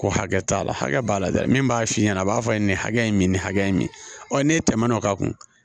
Ko hakɛ t'a la hakɛ b'a la dɛ min b'a f'i ɲɛna a b'a fɔ a ye nin hakɛ in min nin hakɛ in min tɛmɛn'o kan